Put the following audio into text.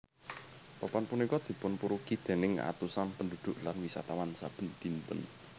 Papan punika dipunpurugi déning atusan pendhudhuk lan wisatawan saben dinten